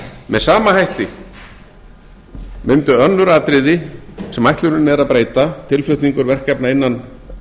með sama hætti mundu önnur atriði sem ætlunin er að breyta tilflutningur verkefna innan